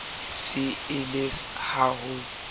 se e le ha o